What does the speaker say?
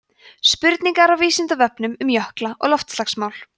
spurningar af vísindavefnum um jökla og loftslagsmál